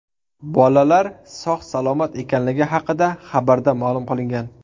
Bolalar sog‘-salomat ekanligi haqida xabarda ma’lum qilingan .